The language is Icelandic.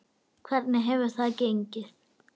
Hvernig hefur það gengið?